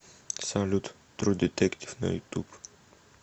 салют тру детектив на ютуб